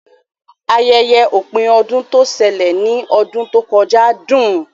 Ayẹyẹ ọ̀pin ọdún tó ṣẹlẹ̀ ní ọdún tó kọjá dùn